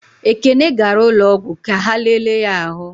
Ekene gara ụlọọgwụ ka ha lele ya ahụ.